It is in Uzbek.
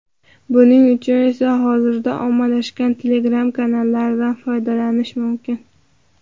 Buning uchun esa hozirda ommalashgan Telegram kanallaridan foydalanish mumkin.